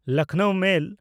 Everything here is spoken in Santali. ᱞᱚᱠᱷᱱᱚᱣ ᱢᱮᱞ